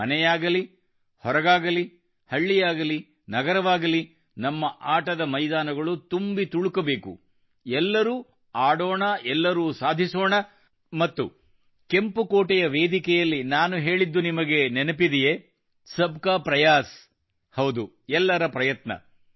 ಮನೆಯಾಗಲಿ ಹೊರಗಾಗಲಿ ಹಳ್ಳಿಯಾಗಲಿ ನಗರವಾಗಲಿ ನಮ್ಮ ಆಟದ ಮೈದಾನಗಳು ತುಂಬಿ ತುಳುಕಬೇಕು ಎಲ್ಲರೂ ಆಡೋಣ ಎಲ್ಲರೂ ಸಾಧಿಸೋಣ ಮತ್ತು ಕೆಂಪು ಕೋಟೆಯ ವೇದಿಕೆಯಲ್ಲಿ ನಾನು ಹೇಳಿದ್ದು ನಿಮಗೆ ನೆನಪಿದೆಯೇ ಸಬ್ಕಾ ಪ್ರಯಾಸ್ ಹೌದು ಎಲ್ಲರ ಪ್ರಯತ್ನ